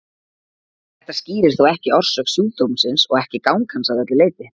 Þetta skýrir þó ekki orsök sjúkdómsins og ekki gang hans að öllu leyti.